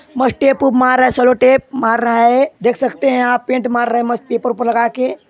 मस टेप -उप मार रहा है सेलों टेप मार रहा है देख सकते है आप पेंट मार रहा है मस्त पेपर पे लगा के।